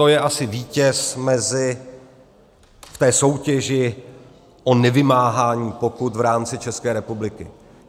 To je asi vítěz v té soutěži o nevymáhání pokut v rámci České republiky.